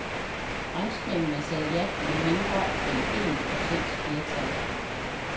Franskmændene sagde ja med mindre end en procents flertal.